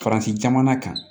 Faransi jamana kan